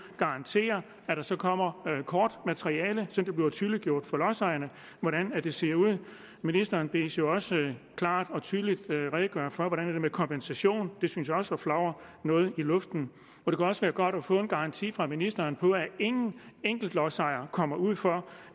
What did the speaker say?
garantere at der så kommer kortmateriale så det bliver tydeliggjort for lodsejerne hvordan det ser ud ministeren bedes jo også klart og tydeligt redegøre for hvordan det er med kompensation det synes jeg også flagrer noget i luften det kunne også være godt at få en garanti fra ministeren på at ingen lodsejer kommer ud for